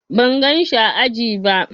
Ban gan shi ã aji ba.